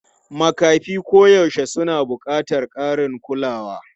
Makafi koyaushe suna buƙatar ƙarin kulawa.